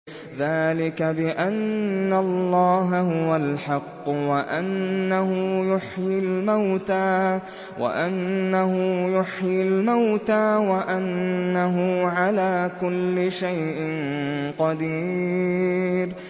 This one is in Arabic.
ذَٰلِكَ بِأَنَّ اللَّهَ هُوَ الْحَقُّ وَأَنَّهُ يُحْيِي الْمَوْتَىٰ وَأَنَّهُ عَلَىٰ كُلِّ شَيْءٍ قَدِيرٌ